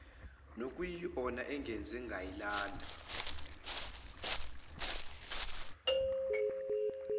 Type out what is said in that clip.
nokuyiyona engenze nganilanda